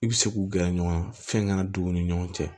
I bɛ se k'u gɛrɛ ɲɔgɔn na fɛn ka na don u ni ɲɔgɔn cɛ